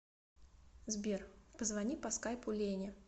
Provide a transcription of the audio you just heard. сбер позвони по скайпу лене